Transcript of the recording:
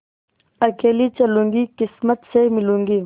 अकेली चलूँगी किस्मत से मिलूँगी